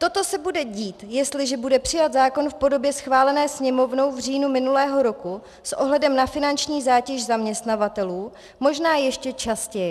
Toto se bude dít, jestliže bude přijat zákon v podobě schválené Sněmovnou v říjnu minulého roku, s ohledem a finanční zátěž zaměstnavatelů možná ještě častěji.